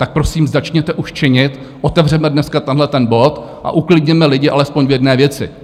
Tak prosím, začněte už činit, otevřeme dneska tenhle ten bod a uklidněme lidi alespoň v jedné věci.